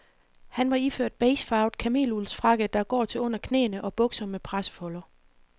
Han var iført beigefarvet kameluldsfrakke, der går til under knæene og bukser med pressefolder.